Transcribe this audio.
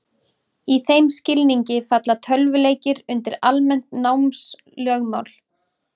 Í þeim skilningi falla tölvuleikir undir almennt námslögmál.